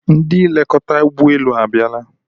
Ndị nlekọta ụgbọelu abiala